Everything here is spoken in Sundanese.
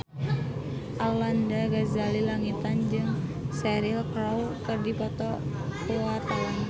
Arlanda Ghazali Langitan jeung Cheryl Crow keur dipoto ku wartawan